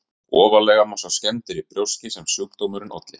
Ofarlega má sjá skemmdir í brjóski sem sjúkdómurinn olli.